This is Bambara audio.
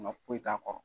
Nka foyi t'a kɔrɔ